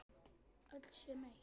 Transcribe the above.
Öll sem eitt.